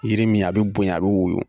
Yiri min a bɛ bonya a bɛ woyo